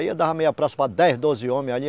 Aí eu dava meia praça para dez, doze homens ali.